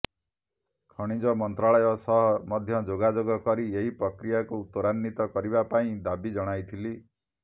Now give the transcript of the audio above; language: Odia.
ଖଣିଜ ମନ୍ତ୍ରାଳୟ ସହ ମଧ୍ୟ ଯୋଗାଯୋଗ କରି ଏହି ପ୍ରକ୍ରିୟାକୁ ତ୍ୱରାନ୍ୱିତ କରିବା ପାଇଁ ଦାବି ଜଣାଇଥିଲି